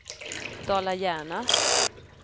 Dala-Järna